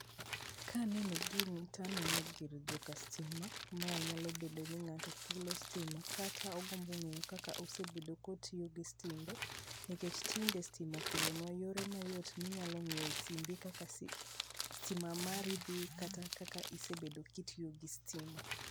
Kaneno gini taneno gir joka stima. Mae nyalo bendo ni ng'ato chulo stima kata ogombo ng'eyo kaka osebedo kotiyo gi stimbe. Nikech tinde stima okelonwa yore mayot minyalo ng'iyo e simbi kaka stima mari dhi kata kaka isebedo kitiyo gi stima.